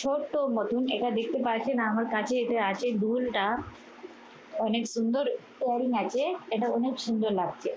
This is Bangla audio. ছোট মতন এটা দেখতে পাচ্ছেন আমার কাছে এটা আছে দুলটা। অনেক সুন্দর ear ring আছে, এটা অনেক সুন্দর লাগছে।